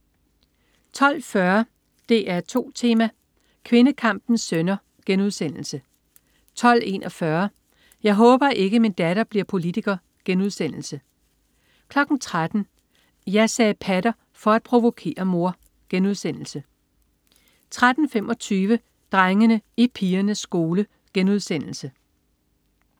12.40 DR2 Tema: Kvindekampens sønner* 12.41 Jeg håber ikke, min datter bliver politiker* 13.00 Jeg sagde "patter" for at provokere mor* 13.25 Drengene i pigernes skole*